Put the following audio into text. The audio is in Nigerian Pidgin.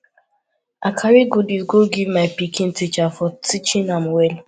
i carry goodies go give my pikin teacher for teaching am well